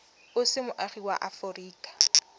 o se moagi wa aforika